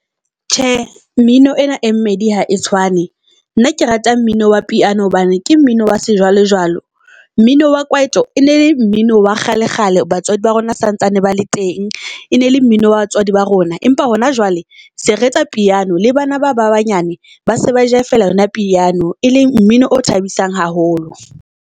Tjhe, mmino ena e mmedi ha e tshwane. Nna ke rata mmino wa piano hobane ke mmino wa se jwale jwale. Mmino wa kwaito e nele mmino wa kgale kgale, batswadi ba rona sa ntsane ba le teng e ne le mmino wa batswadi ba rona, empa hona jwale se re etsa piano. Le bana ba ba banyane ba se ba jaiva-ela yona piano, e leng mmino o thabisang haholo.